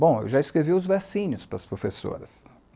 Bom, eu já escrevi os versinhos para as professoras.